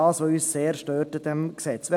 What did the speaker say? Dies stört uns an diesem Gesetz sehr.